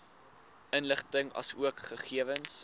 inligting asook gegewens